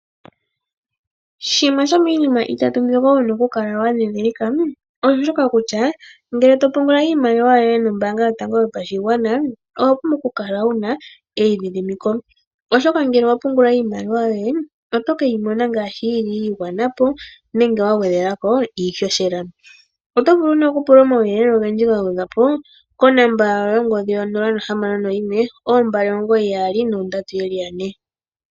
Shimwe shomiinima itatu mbyoka wu na okukala wa ndhindhilika osho shoka kutya ngele to pungula iimaliwa yoye nombaanga yotango yopashigwana owa pumbwa okukala wuna eidhidhimiko. Oshoka ngele owa pungula iimaliwa yoye otokeyi mona ngaashi yi li yi igwana po nenge wa gwedhelwako iihohela. Oto vulu nduno okupula omauyelele ogendji ga gwedhwa po konomola 061 299 2222.